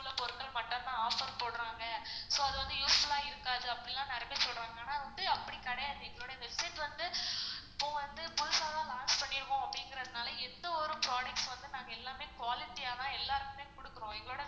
பொருட்கள் மட்டும் தான் offer போடறாங்க offer அது வந்து useful ஆ இருக்காது அப்படிலாம் நெறைய பேரு சொல்றாங்க ஆனா நாங்க வந்து அப்டி கெடையாது எங்களுடைய website வந்து இப்போ வந்து புதுசா தான் launch பண்ணிருகோம் அப்படிங்கறதுனால எந்த ஒரு products வந்து நாங்க எல்லாமே quality யா தான் எல்லாருக்குமே குடுக்குறோம். எங்களோட